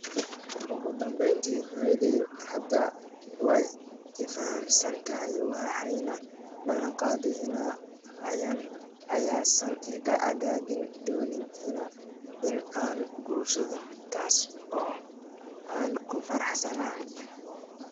Ugu dambeyntii, hooyaday hadda way i fahamsan tahay waxayna ballanqaaday in aysan iga cadaadin doonin in aan guursado, taas oo aan ku faraxsanahay.